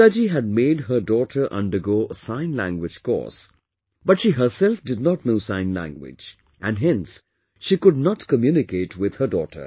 Tinkaji had made her daughter undergo a Sign Language course but she herself did not know Sign Language, and hence she could not communicate with her daughter